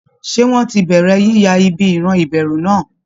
Ṣé wọ́n ti bẹ̀rẹ̀ yíya ibi ìran ìbẹ̀rù náà?